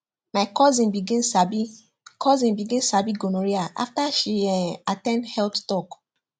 my cousin begin sabi cousin begin sabi gonorrhea after she um at ten d health talk